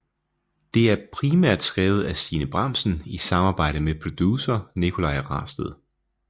Det er primært skrevet af Stine Bramsen i samarbejde med producer Nicolaj Rasted